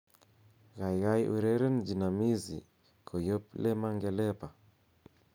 gaigai ureren jinamizi koyob le mangelepa